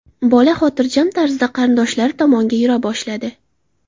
Bola xotirjam tarzda qarindoshlari tomonga yura boshladi.